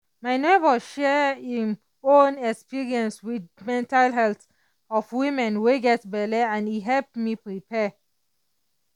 my neighbor share im own experience with mental health of women wey get belle and e help me prepare.